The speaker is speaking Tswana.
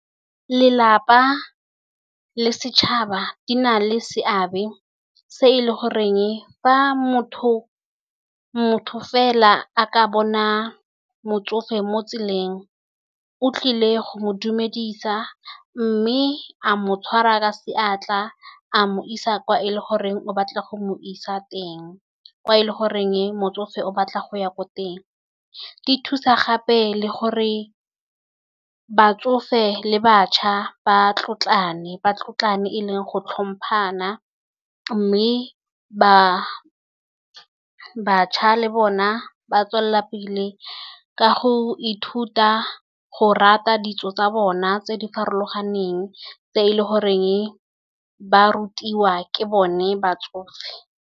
Lelapa le setšhaba di na le seabe se e le goreng fa motho fela, a ka bona motsofe mo tseleng, o tlile go mo dumedisa mme a mo tshwara ka seatla, a mo isa kwa e le goreng o batla go mo isa teng, kwa e le goreng motsofe o batla go ya ko teng. Di thusa gape le gore batsofe le bašwa ba tlotlane ba tlotlane e leng go tlhompana, mme bašwa le bona, ba tswelela pele, ka go ithuta go rata ditso tsa bona tse di farologaneng tse e le goreng ba rutiwa ke bone batsofe.